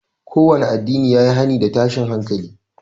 Kowanne addinin ya yi hani da tashin hankali